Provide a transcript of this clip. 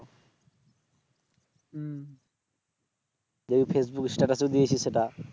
যে Facebook status এ দিয়েছি সেটা